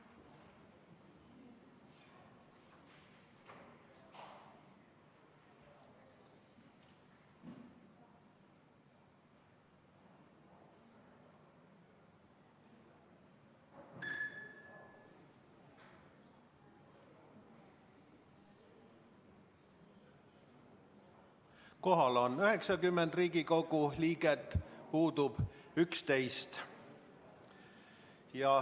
Kohal on 90 Riigikogu liiget, puudub 11.